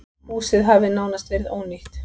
Húsið hafi nánast verið ónýtt.